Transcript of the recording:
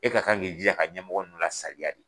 E ka kan k'i jija ka ɲɛmɔgɔ nunnu la saliya de.